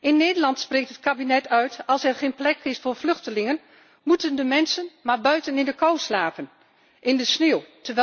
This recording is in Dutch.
In Nederland zegt het kabinet als er geen plek is voor vluchtelingen moeten de mensen maar buiten in de kou slapen, in de sneeuw.